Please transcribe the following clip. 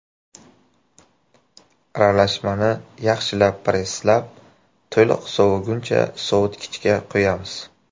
Aralashmani yaxshilab presslab, to‘liq soviguncha sovitkichga qo‘yamiz.